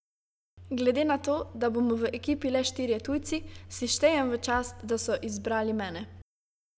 Glede na to, da bomo v ekipi le štirje tujci, si štejem v čast, da so izbrali mene.